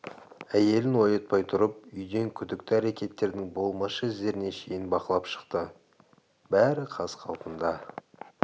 әйелін оятпай тұрып үйден күдікті әрекеттердің болмашы іздеріне шейін бақылап шықты бәрі қаз-қалпында